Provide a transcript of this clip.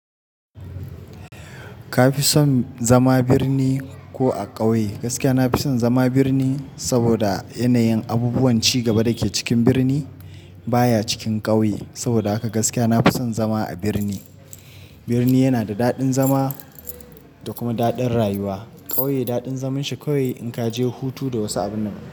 Ka fi son zama birni ko a ƙauye? Gaskiya na fi son zama birni saboda yanayin abubuwan ci gaba da ke cikin birni baya cikin ƙauye. Saboda haka gaskiya na fi son zama a birni. Birni yana da daɗin zama da kuma daɗin rayuwa. Ƙauye daɗin zaman shi kawai in ka je hutu da wasu abinan.